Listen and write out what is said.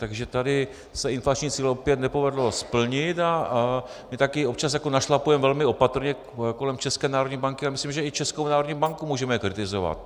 Takže tady se inflační cíl opět nepovedlo splnit a my také občas našlapujeme velmi opatrně kolem České národní banky a myslím, že i Českou národní banku můžeme kritizovat.